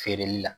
Feereli la